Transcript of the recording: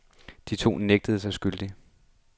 De to nægter sig skyldige.